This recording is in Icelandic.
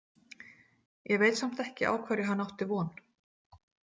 Ég veit samt ekki á hverju hann átti von.